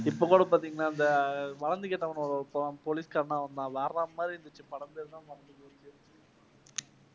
இப்பக் கூட பாத்தீங்கன்னா இந்த வளர்ந்து கெட்டவனோட ஒரு படம் போலீஸ்காரனா வந்தான். வேற மாதிரி இருந்துச்சு. படம் பேரு தான் மறந்து போச்சு.